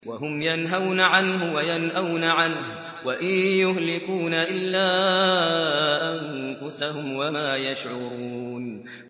وَهُمْ يَنْهَوْنَ عَنْهُ وَيَنْأَوْنَ عَنْهُ ۖ وَإِن يُهْلِكُونَ إِلَّا أَنفُسَهُمْ وَمَا يَشْعُرُونَ